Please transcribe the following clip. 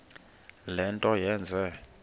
le nto yenze